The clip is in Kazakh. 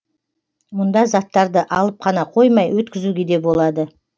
мұнда заттарды алып қана қоймай өткізуге де болады